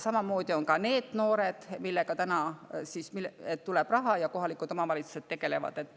Samamoodi on ka NEET-noortega, kelle jaoks täna raha tuleb ja kellega kohalikud omavalitsused tegelevad.